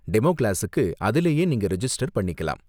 Demo கிளாஸுக்கு அதிலேயே நீங்க ரிஜிஸ்டர் பண்ணிக்கலாம்.